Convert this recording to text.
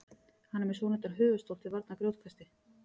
hann er með svonefndan höfuðstól til varnar grjótkasti